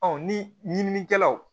ni ɲininikɛlaw